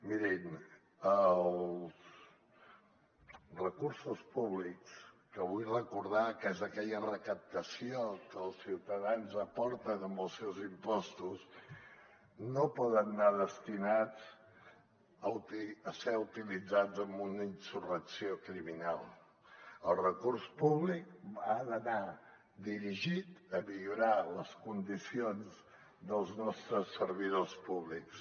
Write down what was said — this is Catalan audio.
mirin els recursos públics que vull recordar que són aquella recaptació que els ciutadans aporten amb els seus impostos no poden anar destinats a ser utilitzats en una insurrecció criminal el recurs públic ha d’anar dirigit a millorar les condicions dels nostres servidors públics